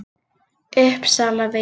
Uppsalavegi